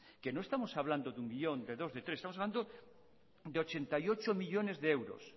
que no estamos hablando de uno millón de dos de tres estamos hablando de ochenta y ocho millónes de euros